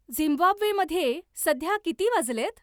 झिम्बाब्वेमध्ये सध्या किती वाजलेत